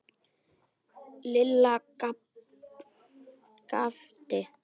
Lilla gapti.